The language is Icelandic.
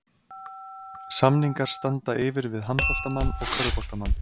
Samningar standa yfir við handboltamann og körfuboltamann.